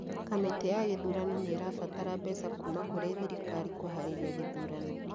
Kamĩtĩ ya gĩthurano nĩ ĩrabatara mbeca kuuma kũrĩ thirikari kũhaarĩria gĩthurano